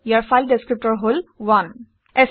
ইয়াৰ file ডিচক্ৰিপটৰ হল 1